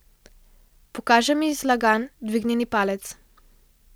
Pokaže mi zlagan dvignjen palec.